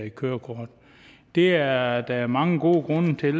et kørekort det er er der mange gode grunde til